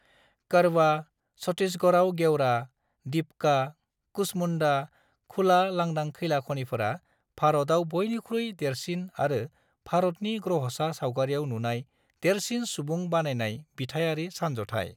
कोरबा, छत्तीसगढ़आव गेवरा, दीपका, कुसमुंडा खुला लांदां खैला खनिफोरा भारतआव बयनिख्रुइ देरसिन आरो भारतनि ग्रह'सा सावगारियाव नुनाय देरसिन सुबुं बानायनाय बिथायारि सानज'थाइ।